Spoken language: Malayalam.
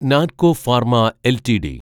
Natco pharma LTD